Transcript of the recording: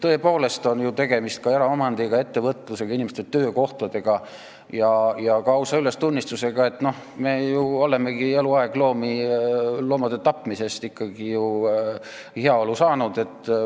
Tõepoolest on tegemist ka eraomandiga, ettevõtlusega, inimeste töökohtadega ja ka ausa ülestunnistusega, et me ju olemegi eluaeg loomade tapmisest ikkagi heaolu saanud.